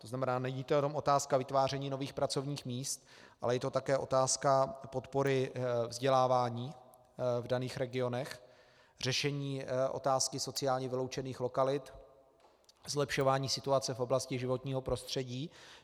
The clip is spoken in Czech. To znamená, není to jenom otázka vytváření nových pracovních míst, ale je to také otázka podpory vzdělávání v daných regionech, řešení otázky sociálně vyloučených lokalit, zlepšování situace v oblasti životního prostředí.